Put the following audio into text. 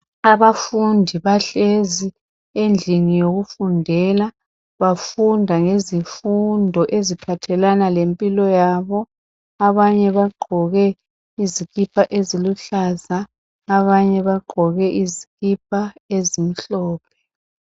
Abafundi bahlezi endlini yokufundela, bafunda ngezifundo eziphathelana lempilo yabo. Abanye bagqoke izikipa eziluhlaza, abanye bagqoke izikipa ezimhlophe.